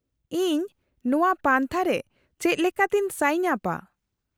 -ᱤᱧ ᱱᱚᱶᱟ ᱯᱟᱱᱛᱷᱟᱨᱮ ᱪᱮᱫᱞᱮᱠᱟᱛᱤᱧ ᱥᱟᱭᱤᱱ ᱟᱯᱼᱟ ?